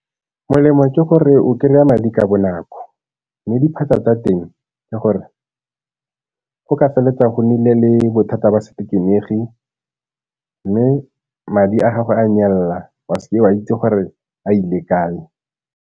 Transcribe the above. Molemo ke gore o kry-a madi ka bonako, mme diphatsa tsa teng ke gore go ka feletsa go nnile le bothata ba mme madi a gago a nyelela, wa se ke wa itse gore a ile kae.